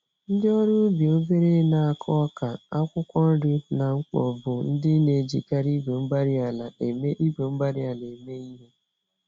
Ndị ọrụ ubi obere n'akụ ọka, akwụkwọ nri, na mkpo, bụ ndị n'ejikarị igwe-mgbárí-ala eme igwe-mgbárí-ala eme ìhè.